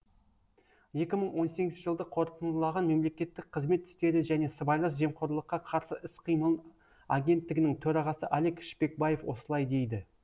екі мың он сегізінші жылды қорытындылаған мемлекеттік қызмет істері және сыбайлас жемқорлыққа қарсы іс қимыл агенттігінің төрағасы алик шпекбаев осылай дейді